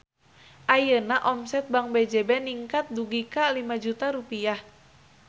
Ayeuna omset Bank BJB ningkat dugi ka 5 juta rupiah